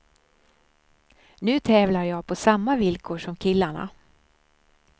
Nu tävlar jag på samma villkor som killarna.